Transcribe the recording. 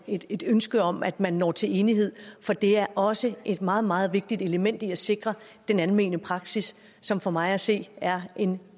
et et ønske om at man når til enighed for det er også et meget meget vigtigt element i at sikre den almene praksis som for mig at se er en